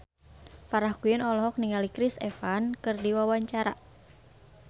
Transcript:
Farah Quinn olohok ningali Chris Evans keur diwawancara